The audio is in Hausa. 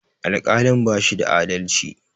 Alƙalin bashi da adalci